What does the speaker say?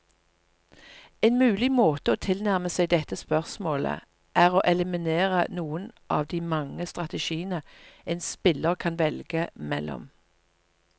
En mulig måte å tilnærme seg dette spørsmålet, er å eliminere noen av de mange strategiene en spiller kan velge mellom.